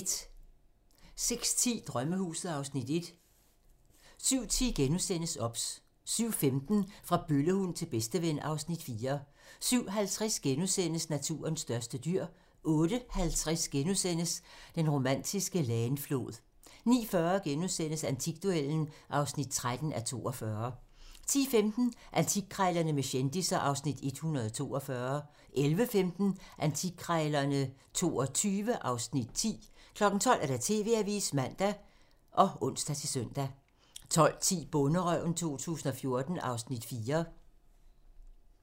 06:10: Drømmehuset (Afs. 4) 07:10: OBS * 07:15: Fra bøllehund til bedsteven (Afs. 4) 07:50: Naturens største dyr * 08:50: Den romantiske Leine-flod * 09:40: Antikduellen (13:42)* 10:15: Antikkrejlerne med kendisser (Afs. 142) 11:15: Antikkrejlerne XXII (Afs. 10) 12:00: TV-avisen (man og ons-søn) 12:10: Bonderøven 2014 (Afs. 4)